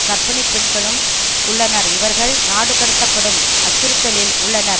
கர்ப்பிணி பெண்களும் உள்ளனர் இவர்கள் நாடுகடத்தப்படும் அச்சுறுத்தலில் உள்ளனர்